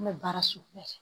An bɛ baara sugu bɛɛ kɛ